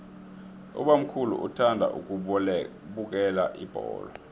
ubamkhulu uthanda ukubukela ibholo